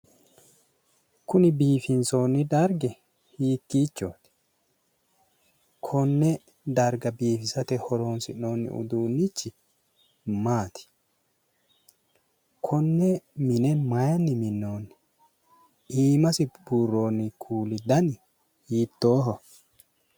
Kuni biifinsoonni dargi hiikkiichcho no konne darga biifisate horoonsi'noonni uduunnichchi maati konne mine mayiinni minnoonni iimasi buurroonni kuuli dani hiittooho